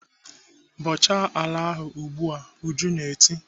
"Bọchaa ala ahụ ugbu a!" Ujunwa na-eti.